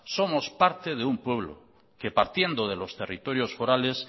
somos parte de un pueblo que partiendo de los territorios forales